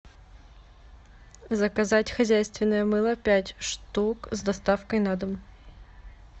заказать хозяйственное мыло пять штук с доставкой на дом